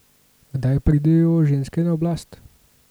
Kdaj pridejo ženske na oblast?